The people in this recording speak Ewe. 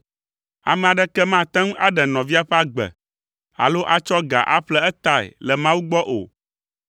Ame aɖeke mate ŋu aɖe nɔvia ƒe agbe alo atsɔ ga aƒle etae le Mawu gbɔ o.